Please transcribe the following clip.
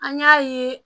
An y'a ye